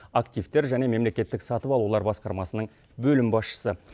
активтер және мемлекеттік сатып алулар басқармасының бөлім басшысы